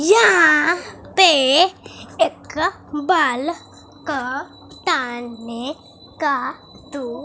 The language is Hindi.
यहां पे एक बाल क टाने का दु--